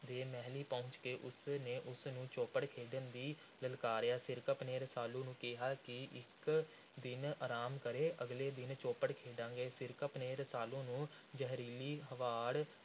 ਦੇ ਮਹਿਲੀਂ ਪਹੁੰਚ ਕੇ ਉਸ ਨੇ ਉਸ ਨੂੰ ਚੌਪੜ ਖੇਡਣ ਲਈ ਲਲਕਾਰਿਆ। ਸਿਰਕੱਪ ਨੇ ਰਸਾਲੂ ਨੂੰ ਕਿਹਾ ਕਿ ਉਹ ਇਕ ਦਿਨ ਅਰਾਮ ਕਰੇ। ਅਗਲੇ ਦਿਨ ਚੌਪੜ ਖੇਡਣਗੇ। ਸਿਰਕੱਪ ਨੇ ਰਸਾਲੂ ਨੂੰ ਜ਼ਹਿਰੀਲੀ ਹਵਾੜ